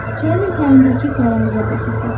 Çayın otayındakı qaranlığa baxırdı.